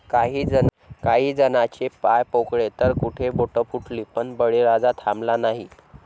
काही जणाचे पाय पोळले तर कुठे बोटं फुटली, पण बळीराजा थांबला नाही...